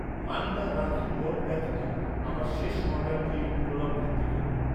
Manna ragi malt ব্যতীত আমার শেষ অর্ডারটির পুনরাবৃত্তি করুন।